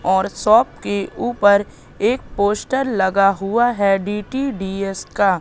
और शॉप की ऊपर एक पोस्टर लगा हुआ है डी_टी_डी_यस का--